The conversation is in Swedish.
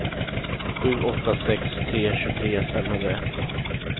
sju åtta sex tre tjugotre femhundraett